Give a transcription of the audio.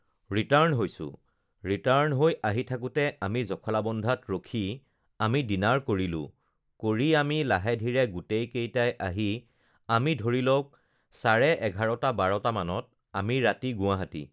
return হৈছোঁ return হৈ আহি থাকোতে আমি জখলাবন্ধাত ৰখি আমি ডিনাৰ কৰিলোঁ কৰি আমি লাহে ধীৰে গোটেই কেইটাই আহি আমি ধৰি লওঁক চাৰে এঘাৰটা বাৰটা মানত আমি ৰাতি গুৱাহাটী